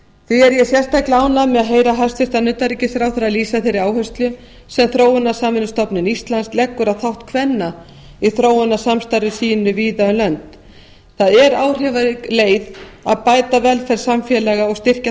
því er ég sérstaklega ánægð með að heyra hæstvirts utanríkisráðherra lýsa þeirri áherslu sem þróunarsamvinnustofnun íslands leggur á þátt kvenna í þróunarsamstarfi sínu víða um lönd það er áhrifarík leið að bæta velferð samfélaga og styrkja